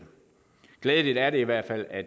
glædeligt er det i hvert fald at